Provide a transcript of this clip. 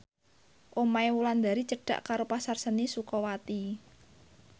omahe Wulandari cedhak karo Pasar Seni Sukawati